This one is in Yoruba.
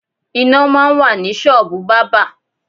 Iná máa ń wà ní ṣọ́ọ̀bù bábà.